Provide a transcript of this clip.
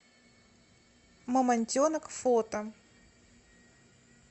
мамонтенок фото